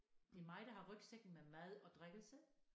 Det er mig der har rygsækken med mad og drikkelse